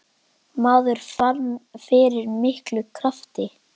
Maður fann fyrir miklum krafti.